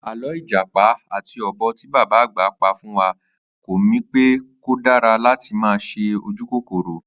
Àló̩ ìjàpá àti o̩bò̩ tí bàbá àgbà pa fún wa kó̩ mi pé kò dára láti máa s̩e ojúkòkòrò